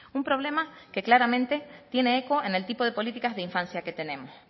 un problema que claramente tiene eco en el tipo de políticas de infancia que tenemos